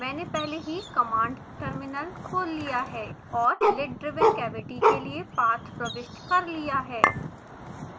मैंने पहले ही कमांड टर्मिनल खोल लिया है और lid driven cavity के लिए पाथ प्रविष्ट कर लिया है